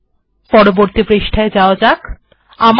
এখন পরবর্তী পৃষ্ঠায় যাওয়া যাক